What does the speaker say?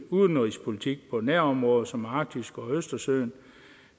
udenrigspolitik på nærområder som arktis og østersøen